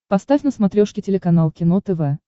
поставь на смотрешке телеканал кино тв